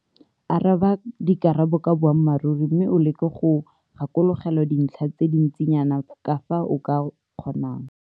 Araba ka dikarabo ka boammaruri mme o leke go gakologelwa dintlha tse di ntsinyana ka fa o ka kgonang.